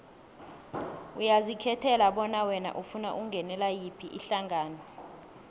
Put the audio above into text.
uyazikhethela bona wena ufuna ukungenela yiphi ihlangano